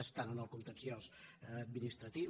està en el contenciós administratiu